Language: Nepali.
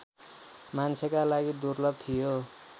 मान्छेका लागि दुर्लभ थियो